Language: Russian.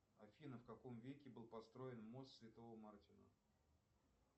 афина в каком веке был построен мост святого мартина